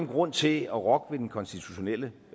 grund til at rokke ved den konstitutionelle